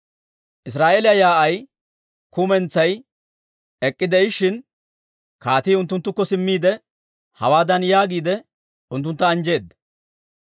Israa'eeliyaa yaa'ay kumentsay ek'k'ide'ishshin, kaatii unttunttukko simmiide, hawaadan yaagiide unttuntta anjjeedda;